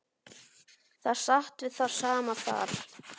Það sat við það sama þar.